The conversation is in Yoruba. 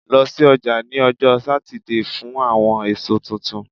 Lọ si ọja ni ọjọ Satidee fun awọn eso tuntun